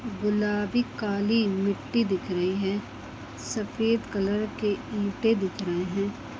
--गुलाबी काली मिट्टी दिख रही है सफेद कलर के ईंटें दिख रहे हैं।